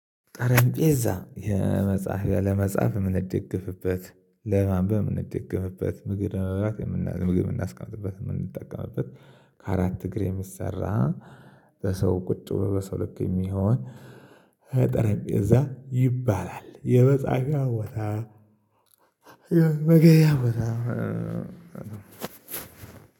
ጠረንጴዛ የመጻፊያ ለመጻፍ የምንደግፍበት ለማንበብ የምንደግፍበት ምግብ ለመብላት የምናስቀምጥበት የምንጠቀምበት ከአራት እግር የሚሰራ በሰው ቁጭ ብሎ በሰው ልክ የሚሆን ጠረጴዛ ይባላል። የመጻፊያ ቦታ መመገቢያ ቦታ።